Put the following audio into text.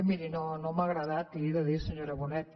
miri no m’ha agradat li ho he de dir senyora bonet